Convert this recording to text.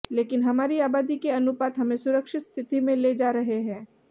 लेकिन हमारी आबादी के अनुपात हमें सुरक्षित स्थिति में ले जा रहे हैं